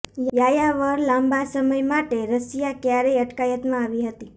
યાયાવર લાંબા સમય માટે રશિયા ક્યારેય અટકાયતમાં આવી હતી